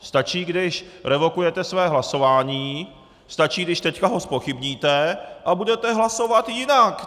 Stačí, když revokujete své hlasování, stačí když teď ho zpochybníte a budete hlasovat jinak!